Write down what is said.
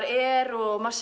er og maður